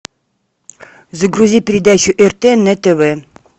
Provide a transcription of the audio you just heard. загрузи передачу рт на тв